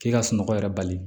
K'i ka sunɔgɔ yɛrɛ bali